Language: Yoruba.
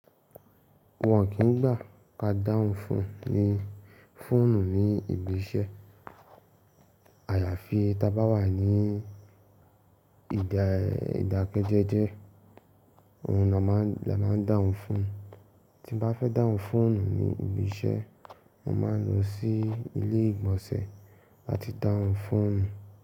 Wọn kìn gbà kí a dá hùn fóònù ni, fóònù ní ibi iṣẹ́ àyàfi ta bá wà ní ìdákẹ́jẹ́jẹ́, ohun ni a má a ń dáhùn fóònù. Tí mo bá fẹ́ dáhùn fóònù ní ibi iṣẹ́, mo ma ń lọ sí ilé ìgbọ̀nsẹ̀ àti dáhùn fóònù.